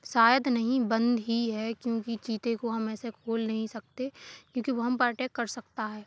शायद नही बंद ही है क्योंकि चीते को हम ऐसे खोल नही सकते क्योंकि वह हम पे अटैक कर सकता है।